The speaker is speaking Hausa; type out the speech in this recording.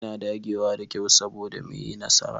Muna dagewa da kyau soboda mu yi nasara.